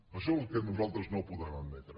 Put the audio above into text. això és el que nosaltres no podem admetre